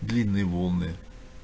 длинные волны